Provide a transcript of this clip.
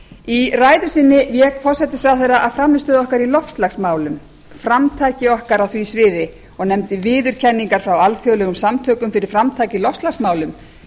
í ræðu sinni vék forsætisráðherra að frammistöðu okkar í loftslagsmálum framtaki okkar á því sviði og nefndi viðurkenningar frá alþjóðlegum samtökum fyrir framtak í loftslagsmálum